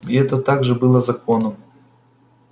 и это также было законом